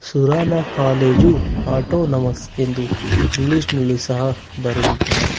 Surana college autonomous ಎಂದು English ನಲ್ಲು ಸಹ ಬರೆದಿದ್ದಾರೆ.